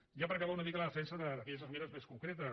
i ja per acabar una mica la defensa d’aquelles esmenes més concretes